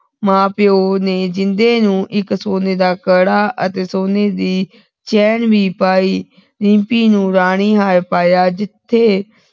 ਮਾਂ ਪਿਓ ਨੇ ਜਿੰਦੇ ਨੂੰ ਇਕ ਸੋਨੇ ਦਾ ਕੜਾ ਅਤੇ ਸੋਨੇ ਦੀ ਚੈਨ ਵੀ ਪਾਈ ਰਿੰਪੀ ਨੂੰ ਰਾਣੀ ਹਰ ਪਾਈਆਂ ਜਿਥੇ